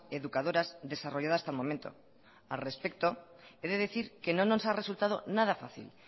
educadoras desarrollado hasta el momento al respecto he de decir que no nos ha resultado nada fácil